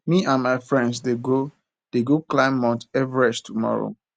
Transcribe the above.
me and my friends dey go dey go climb mount everest tomorrow